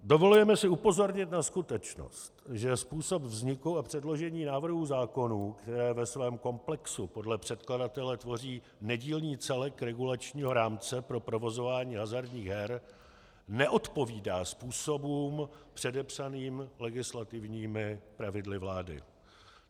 Dovolujeme si upozornit na skutečnost, že způsob vzniku a předložení návrhu zákonů, které ve svém komplexu podle předkladatele tvoří nedílný celek regulačního rámce pro provozování hazardních her, neodpovídá způsobům předepsaným legislativními pravidly vlády.